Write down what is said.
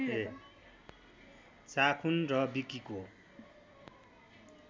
चाखून् र विकिको